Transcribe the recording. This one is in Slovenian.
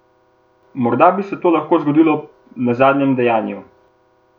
Morda bi se to lahko zgodilo na zadnjem dejanju.